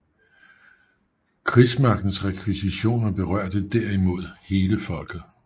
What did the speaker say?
Krigsmagtens rekvisitioner berørte der imod hele folket